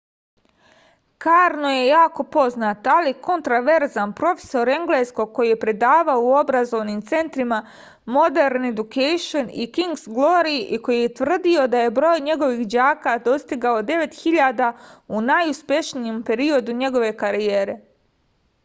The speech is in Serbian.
karno je jako poznat ali kontroverzan profesor engleskog koji je predavao u obrazovnim centrima modern education i king's glory i koji je tvrdio da je broj njegovih đaka dostigao 9000 u najuspešnijem periodu njegove karijere